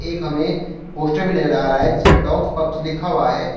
एक हमें पोस्टर भी नजर आ रहा है जिस पर डॉग्स पब्स लिखा हुआ है।